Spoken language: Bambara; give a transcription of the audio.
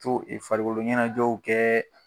To farikolo ɲɛnajɛw kɛ.